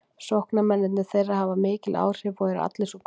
Sóknarmennirnir þeirra hafa mikil áhrif og eru allir svo góðir.